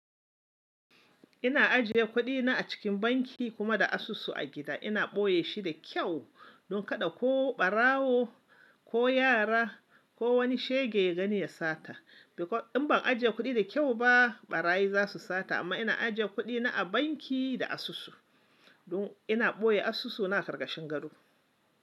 Ina ajiye kuɗina a cikin banki kuma da asusu a gida ina boye shi da kyau don kada ko ɓarawo ko yara ko wani shege ya gani ya sata. In ban ajiye kuɗi da kyau ba ɓarayi za su sata amma ina ajiye kuɗi na a banki da asusu don ina boye asusu na ƙarƙashin gado.